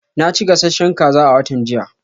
Na ci gasasshen kaza a watan jiya.